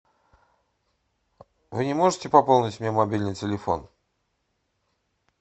вы не можете пополнить мне мобильный телефон